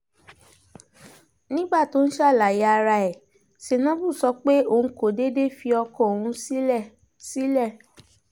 nígbà tó ń ṣàlàyé ara ẹ̀ senabu sọ pé òun kò déédé fi ọkọ òun sílẹ̀ sílẹ̀